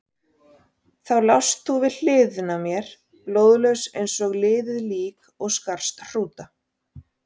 Þá lást þú við hliðina á mér, blóðlaus eins og liðið lík og skarst hrúta.